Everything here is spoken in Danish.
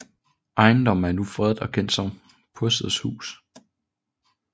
Ejendommen er nu fredet og kendt som Posselts Hus